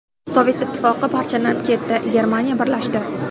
Sovet Ittifoqi parchalanib ketdi, Germaniya birlashdi.